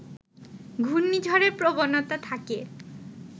ঘূর্ণিঝড়ের প্রবণতা থাকে